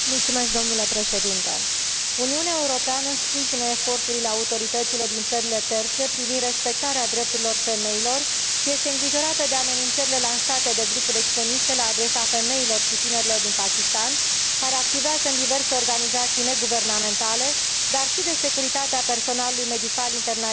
Uniunea Europeană sprijină eforturile autorităților din țările terțe privind respectarea drepturilor femeilor și este îngrijorată de amenințările lansate de grupuri extremiste la adresa femeilor și tinerilor din Pakistan, care activează în diverse organizații neguvernamentale, dar și de securitatea personalului medical internațional activ în această țară.